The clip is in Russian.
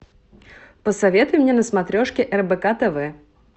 посоветуй мне на смотрешке рбк тв